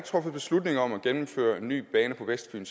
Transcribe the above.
truffet beslutning om at gennemføre en ny bane på vestfyn